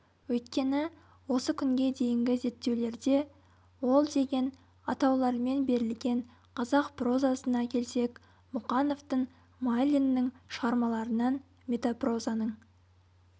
өйткені осы күнге дейінгі зерттеулерде ол деген атаулармен берілген қазақ прозасына келсек мұқановтың майлиннің шығармаларынан метапрозаның